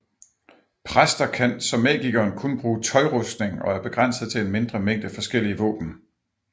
Præster kan som magikeren kun bruge tøjrustning og er begrænset til en mindre mængde forskellige våben